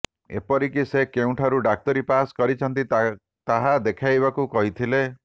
ଏପରିକି ସେ କେଉଁଠାରୁ ଡାକ୍ତରୀ ପାସ କରିଛନ୍ତି ତାହା ଦେଖାଇବାକୁ କହିଥିଲେ